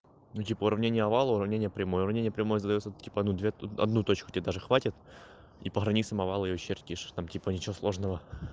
ну типо уравнение овала уравнение прямой уравнение прямой задаётся типо ну две одну точку тебе даже хватит и по границам овала её чертишь там типа ничего сложного